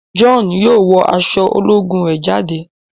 John yóò wọ aṣọ ológun rẹ jáde.